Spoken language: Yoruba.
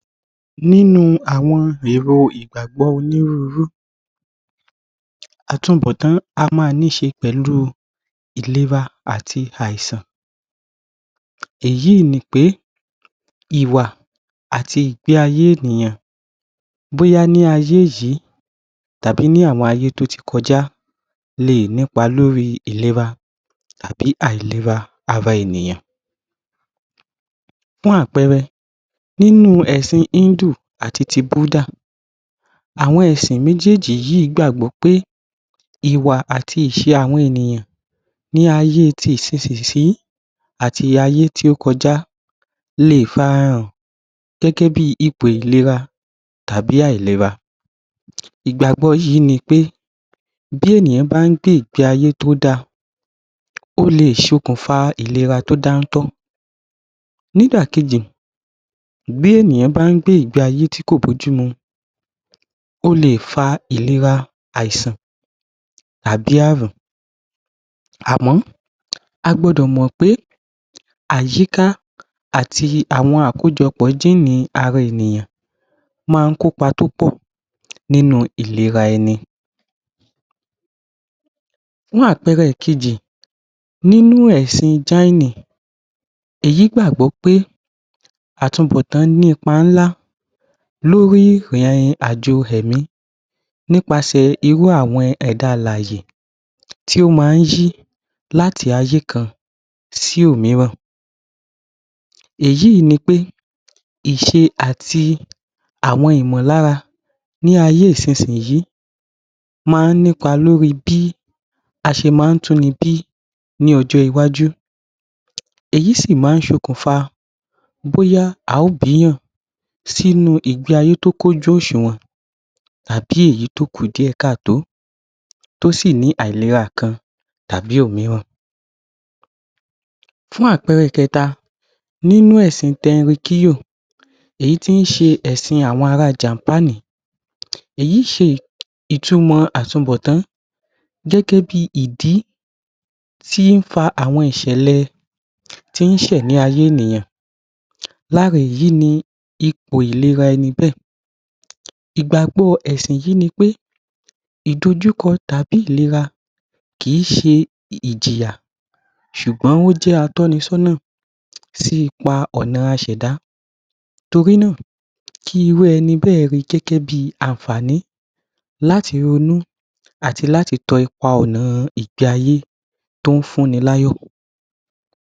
Nínu àwọn èrọ ìgàgbó onírurú àtunbọ̀tán á ma níṣe pẹ̀lú ìlera àti àṣà èyí nípé ìwà àti ìgbé ayè ènìyàn bóyá ní ayé yìí tàbí ní àwọn ayé tó ti kọjá lé è nípa lóri ìlera tàbí àìlera ara ènìyàn. Fún àpẹẹrẹ nínu ẹ̀sìn Híńdù àti ti Búúdà àwọn ẹ̀sìn méjééjì gbàgbọ́ pé ìwà àti ìṣe àwọn ènìyàn ní ayé ti ìsisì yíì àti ayé tó kọ́já le fàràhàn gẹ́gẹ́ bi ìpò ìlera tàbí àìlera ìgbàgbọ́ yìí ni pé tí ènìyàn bá ń gbé ìgbé ayé tó da ó le sòkùnfà ìlera tó dáńtọ́ nídàkéjì bí ènìyàn bá ń gbé ìgbè ayé tí kò bójú mu ó lè fa ìlera àìsàn àbi àrùn àmọ̀ agbọdọ̀ mọ̀pé àyíká àti àkójọpọ̀ àwọn gíínì ara ènìyàn máá ń kópa púpọ̀ nínu ìlera eni fún àpẹẹrẹ ìkejì nínú èsìn ṣháínì èyí gbàgbó pé àtúnbọ̀tán ní ipa ńlá lórí ìrìn àjọ̀ ẹ̀mí nípasẹ̀ irú ẹ̀dá alàyè tó ma ń yíí láti ayé kan si òmíràn èyí nipẹ́ iṣe àti àwọn ìmọ̀lára ní ayé isínsìyí máa ń nípa lóri bí aṣe máá túnibí ní ọjọ́ iwáju bóyá a ó bíyàn sínu ìgbésí aye tí ó kún ojú òsùwọ̀n tàbí èyí tò kú díẹ̀ ká tò ó tó sì ní àìlera Kan tàbi òmíran. Fún àpẹẹrẹ kẹta nínú èsìn tẹnrikíyò ẹ̀sìn àwọn ará jàpàńì èyí ṣe ìtumọ̀ àtunbọ̀tán gẹ́gẹ́ bi ìdí tí ń fa àwọn ìṣẹ̀lẹ̀ tí ń ṣẹ̀ ní ayé ènìyàn lára èyí ni ìpò ìléra eni bé è. ìgbàgbọ́ èsìn yìí ni pé ìdòkúkọ tàbí ìléra kìí ṣé ìjìyà sùgbọ́n wọ́n jẹ́ atọ́nisónà sí ipa ọ̀nà aṣẹ̀dá torí nà kí irú eni bẹ́ ẹ̀ rí gẹ́gẹ́ bí àǹfàní láti ronú àti láti tan ipa ọ̀nà ìgbé ayé tó ń fún ni láyọ̀.